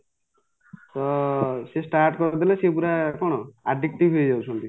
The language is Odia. ତ ସିଏ start କରୁଥିଲେ ସିଏ ପୁରା କ'ଣ addictive ହେଇଯାଉଛନ୍ତି